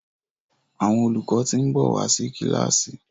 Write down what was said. Àwọn olùkọ tin nbọ wá sí kilasi